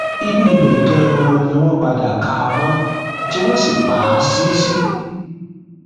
inú ibẹ ganan ni wọn padà ká a mọ tí wọn sì pa á sí sí